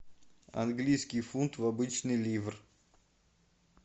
английский фунт в обычный ливр